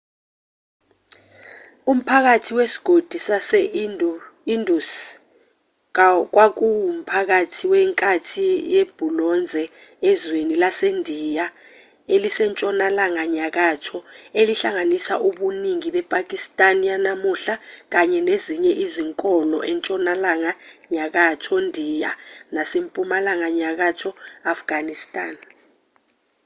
umphakathi wesigodi sase-indus kwakuwumphakathi wenkathi yebhulonze ezweni lasendiya elisentshonalanga nyakatho elihlanganisa ubuningi bepakistan yanamuhla kanye nezinye izinkolo entshonalanga nyakatho ndiya nasempumalanga nyakatho afghanistan